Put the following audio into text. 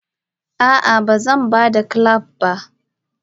Ah ah bazanbada clamp ba.